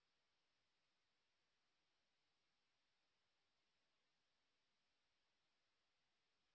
spoken tutorial talk to a teacher প্রকল্পের অংশবিশেষ